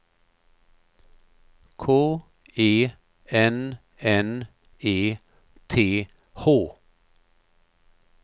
K E N N E T H